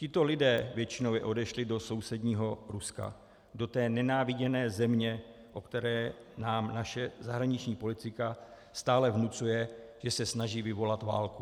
Tito lidé většinově odešli do sousedního Ruska, do té nenáviděné země, o které nám naše zahraniční politika stále vnucuje, že se snaží vyvolat válku.